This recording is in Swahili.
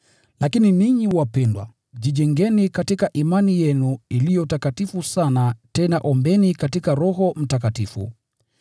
Lakini ninyi wapendwa, jijengeni katika imani yenu iliyo takatifu sana tena ombeni katika Roho Mtakatifu.